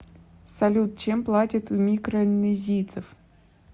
салют чем платят у микронезийцев